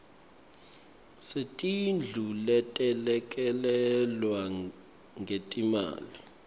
setindlu letelekelelwe ngetimali